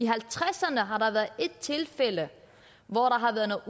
halvtredserne har der været ét tilfælde hvor der har været